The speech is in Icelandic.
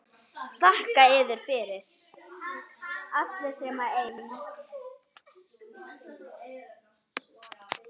Þakka yður fyrir.